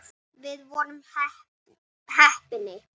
Já takið nú eftir.